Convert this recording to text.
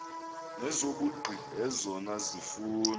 nezobugqi ezona zifundo